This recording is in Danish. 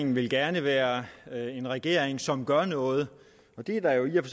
vil gerne være en regering som gør noget og det er der jo i og